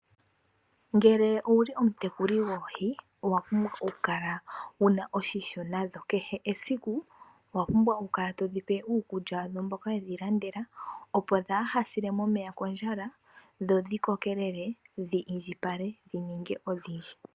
Ngele owuli omutekuli goohi owa pumbwa okukala wuna oshimpwiyu nadho. Kehe esiku owa pumbwa okukala todhi pe uukulya wadho mboka wedhi landela opo kaadhi sile momeya kondjala . Dho dhi indjipale dhi ninge odhindji.